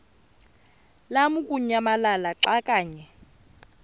lamukunyamalala xa kanye